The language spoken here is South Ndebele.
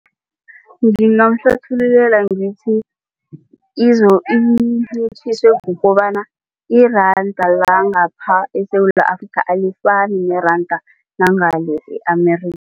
Ngimgamhlathululela ngithi incitjhiswe kukobana iranda langapha eSewula Afrika alifani neranda langale e-Amerika.